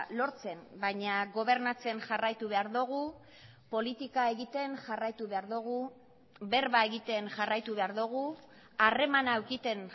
lortzen baina gobernatzen jarraitu behar dugu politika egiten jarraitu behar dugu berba egiten jarraitu behar dugu harremana edukitzen